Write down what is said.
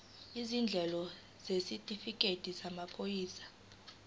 izindleko isitifikedi samaphoyisa